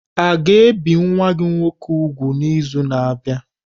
A ga-ebi nwa gị nwoke úgwù n'izu na-abịa?